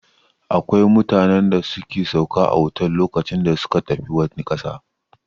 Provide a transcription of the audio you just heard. Akwai mutanen da suke sauka a otel lokacin da suka tafi wani ƙasa.